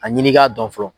A ɲini k'a dɔn fɔlɔ